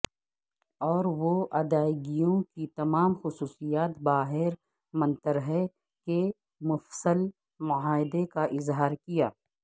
اور وہ ادائیگیوں کی تمام خصوصیات باہر منتر ہے کہ مفصل معاہدے کا اظہار کیا